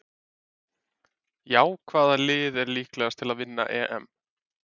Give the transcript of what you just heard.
Já Hvaða lið er líklegast til að vinna EM?